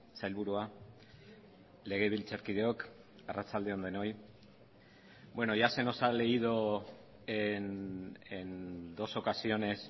sailburua legebiltzarkideok arratsalde on denoi bueno ya se nos ha leído en dos ocasiones